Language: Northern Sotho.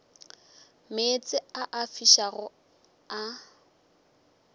meetse a a fišago a